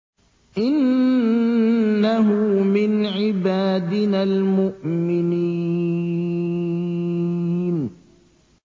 إِنَّهُ مِنْ عِبَادِنَا الْمُؤْمِنِينَ